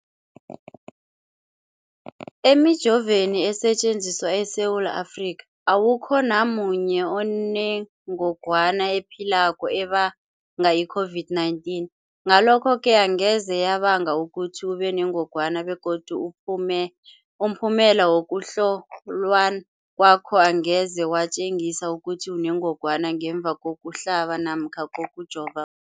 Emijoveni esetjenziswa eSewula Afrika, awukho namunye onengog wana ephilako ebanga i-COVID-19. Ngalokho-ke angeze yabanga ukuthi ubenengogwana begodu umphumela wokuhlolwan kwakho angeze watjengisa ukuthi unengogwana ngemva kokuhlaba namkha kokujova